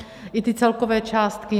I ty celkové částky.